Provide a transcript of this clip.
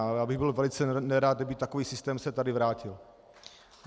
Ale já bych byl velice nerad, kdyby takový systém se tady vrátil.